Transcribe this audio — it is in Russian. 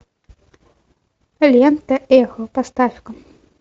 лента эхо поставь ка